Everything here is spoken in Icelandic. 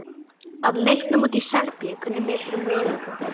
Að leiknum úti í Serbíu, hvernig meturðu möguleika okkar?